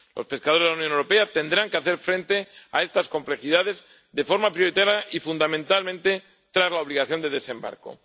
Los pescadores de la Unión Europea tendrán que hacer frente a estas complejidades de forma prioritaria y, fundamentalmente, tras la obligación de desembarque.